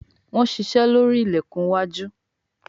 Wón ṣiṣe lórí ilẹkùn iwájú.